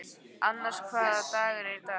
Annas, hvaða dagur er í dag?